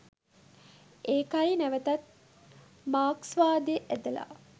"ඒකයි නැවතත් මාක්ස්වාදේ ඇඳලා